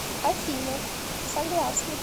афина согласна